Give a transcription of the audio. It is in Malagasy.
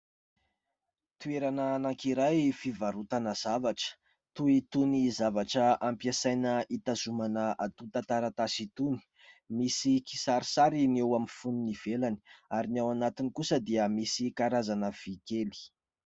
Toerana anankiray fivarotana zavatra, toy itony zavatra ampiasaina itazomana antotan-tantaratasy itony. Misy kisarisary ny eo amin'ny foniny ivelany ary ny ao anatiny kosa dia misy karazana vy kely.